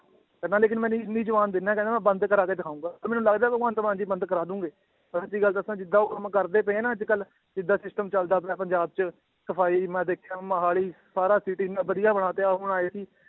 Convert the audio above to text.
ਕਹਿੰਦਾ ਲੇਕਿੰਨ ਮੈਂ ਇੰਨੀ ਜੁਬਾਨ ਦਿਨਾ ਕਹਿੰਦਾ ਮੈਂ ਬੰਦ ਕਰਵਾ ਕੇ ਦਿਖਾਊਂਗਾ ਤੇ ਮੈਨੂੰ ਲੱਗਦਾ ਭਗਵੰਤ ਮਾਨ ਜੀ ਬੰਦ ਕਰਵਾ ਦੇਣਗੇ, ਮੈਂ ਸੱਚੀ ਗੱਲ ਦੱਸਾਂ ਜਿੱਦਾਂ ਉਹ ਕੰਮ ਕਰਦੇ ਪਏ ਹੈ ਨਾ ਅੱਜ ਕੱਲ੍ਹ ਜਿੱਦਾਂ system ਚੱਲਦਾ ਆਪਣੇ ਪੰਜਾਬ 'ਚ, ਸਫ਼ਾਈ ਮੈਂ ਦੇਖਿਆ ਮੋਹਾਲੀ ਸਾਰਾ city ਇੰਨਾ ਵਧੀਆ ਬਣਾ ਤੇ